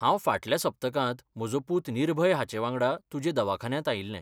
हांव फाटल्या सप्तकांत म्हजो पुत निर्भय हाचेवांगडा तुजे दवाखान्यांत आयिल्लें.